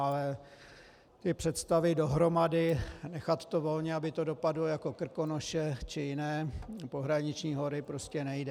Ale ty představy dohromady - nechat to volně, aby to dopadlo jako Krkonoše či jiné pohraniční hory, prostě nejde.